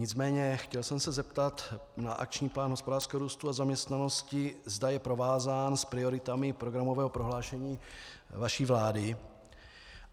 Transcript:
Nicméně chtěl jsem se zeptat na Akční plán hospodářského růstu a zaměstnanosti, zda je provázán s prioritami programového prohlášení vaší vlády.